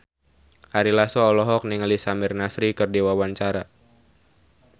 Ari Lasso olohok ningali Samir Nasri keur diwawancara